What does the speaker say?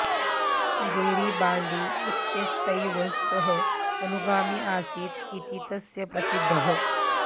Garibaldi इत्यस्यैव सः अनुगामी आसीत् इति तस्य प्रसिद्धिः